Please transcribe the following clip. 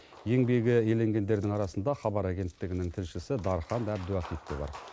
еңбегі еленгендердің арасында хабар агенттігінің тілшісі дархан әбдуахит те бар